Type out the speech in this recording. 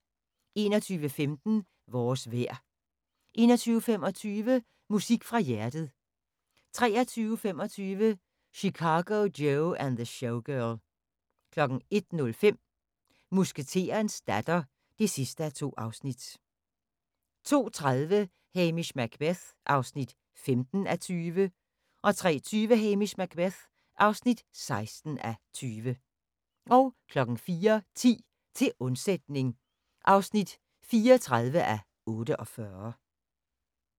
21:15: Vores vejr 21:25: Musik fra hjertet 23:25: Chicago Joe and the Showgirl 01:05: Musketerens datter (2:2) 02:30: Hamish Macbeth (15:20) 03:20: Hamish Macbeth (16:20) 04:10: Til undsætning (34:48)